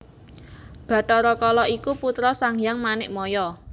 Bathara Kala iku putra Sanghyang Manikmaya